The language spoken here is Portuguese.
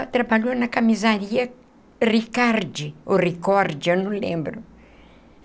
Ela trabalhou na camisaria Ricardi, ou Ricord, eu não lembro.